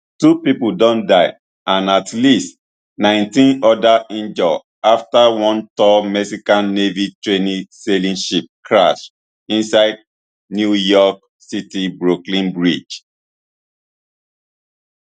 two pipo don die and at least nineteen odas injure afta one tall mexican navy training sailing ship crash inside new york city brooklyn bridge